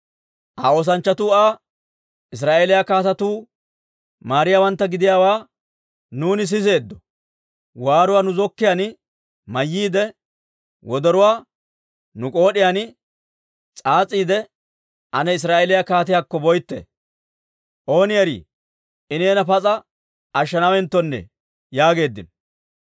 Aa oosanchchatuu Aa, «Israa'eeliyaa kaatetuu maariyaawantta gidiyaawaa nuuni siseeddo. Waaruwaa nu zokkiyaan mayyiide, wodoruwaa nu k'ood'iyaan s'aas'iide, ane Israa'eeliyaa kaatiyaakko boytte. Ooni erii, I neena pas'a ashshanaawenttone» yaageeddino.